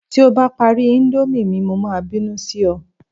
ti o ba pari Indomie mi, mo ma binu Si é